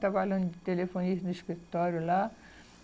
Trabalhando de telefonista no escritório lá.